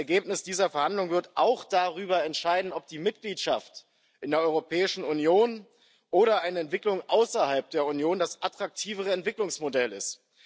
Das Ergebnis dieser Verhandlungen wird auch darüber entscheiden, ob die Mitgliedschaft in der Europäischen Union oder eine Entwicklung außerhalb der Union das attraktivere Entwicklungsmodell ist.